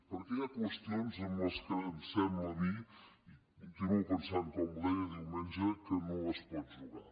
perquè hi ha qüestions amb les quals em sembla a mi i ho continuo pensant com ho deia diumenge que no es pot jugar